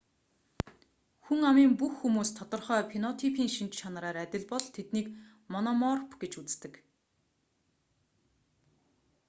хүн амын бүх хүмүүс тодорхой фенотипийн шинж чанараар адил бол тэднийг мономорф гэж үздэг